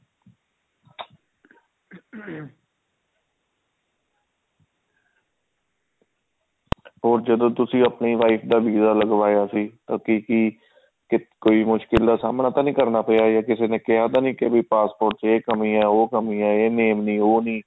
ਉਹ ਜਦੋਂ ਤੁਸੀਂ ਆਪਣੀ wife ਦਾ visa ਲਗਵਾਇਆ ਸੀ ਕੀ ਕੋਈ ਮੁਸ਼ਕਿਲ ਦਾ ਸਾਹਮਣਾ ਤਾਂ ਨੀ ਕਰਨਾ ਪਿਆ ਜਾਂ ਕਿਸੇ ਨੇ ਕਿਹਾ ਤਾਂ ਨੀ ਵੀ passport ਚ ਇਹ ਕਮੀ ਹੈ ਉਹ ਕਮੀ ਹੈ ਇਹ name ਨੀ ਉਹ ਨੀ